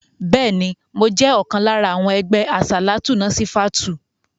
Bẹ́ẹ̀ni, mo jẹ́ ọ̀kan lára àwọn ẹgbẹ́ àsàlátù Násífátùù.